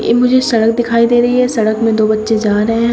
ये मुझे सड़क दिखाई दे रही है सड़क में दो बच्चे जा रहे हैं।